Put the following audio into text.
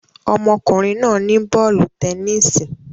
Ọmọkùnrin náà ní bọ́ọ̀lù tẹnisi